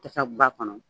Tasa b'a kɔnɔ